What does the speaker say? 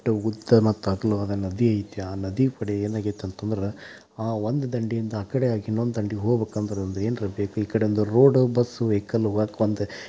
ಉದ್ದ ಮತ್ತು ಅಗಲವಾದ ನದಿ ಇದೆ ಈ ದಂಡೆಯಿಂದ ಆ ದಂಡಿಗೆ ಹೋಗಬೇಕೆಂದರೆ ಬಸ್ಸು ಅಥವಾ ಏನಾದರೂ ಬೇಕಾಗುತ್ತದೆ